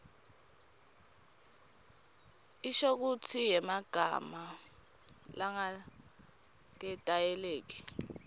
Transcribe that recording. inshokutsi yemagama langaketayeleki